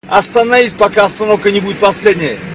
остановись пока остановка не будет последней